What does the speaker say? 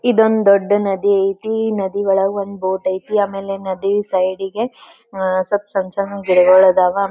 ಇದೊಂದು ದೊಡ್ಡ ನದಿ ಐತಿ ಈ ನದಿ ಒಳಗ್ ಒಂದ್ ಬೋಟ್ ಐತಿ ಆಮೇಲೆ ನದಿ ಸೈಡ್ಗೆ ಅಹ್ ಸ್ವ್ಪ್ ಸಣ್ಣ ಸಣ್ಣ ಗಿಡಗಳು ಅದ್ವ್.